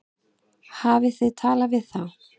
Hafið þið talað við þá?